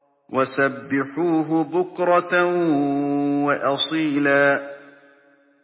وَسَبِّحُوهُ بُكْرَةً وَأَصِيلًا